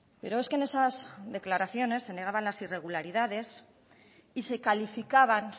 pero es que en esas declaraciones se negaban las irregularidades y se calificaban